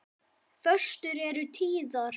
Föstur eru tíðar.